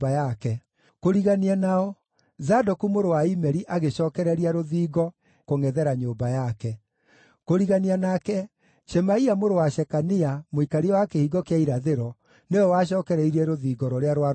Kũrigania nao, Zadoku mũrũ wa Imeri agĩcookereria rũthingo kũngʼethera nyũmba yake. Kũrigania nake, Shemaia mũrũ wa Shekania, mũikaria wa Kĩhingo kĩa Irathĩro, nĩwe wacookereirie rũthingo rũrĩa rwarũmĩrĩire.